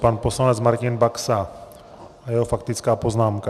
Pan poslanec Martina Baxa a jeho faktická poznámka.